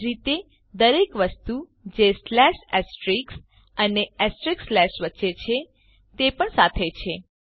એજ રીતે દરેક વસ્તુ જે સ્લેશ એસ્ટ્રિક્સ અને એસ્ટ્રિક્સ સ્લેશ વચ્ચે છે તે પણ સાથે છે